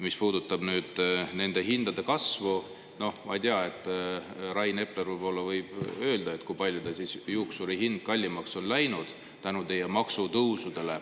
Mis puudutab nende hindade kasvu, siis ma ei tea, Rain Epler võib-olla võib öelda, kui palju tal siis juuksurihind kallimaks on läinud tänu teie maksutõusudele.